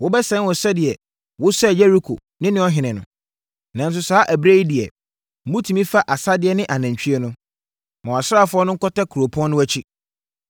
Wobɛsɛe wɔn sɛdeɛ wosɛee Yeriko ne ne ɔhene no. Nanso, saa ɛberɛ yi deɛ, motumi fa asadeɛ ne anantwie no. Ma wʼasraafoɔ no nkɔtɛ kuropɔn no akyi.”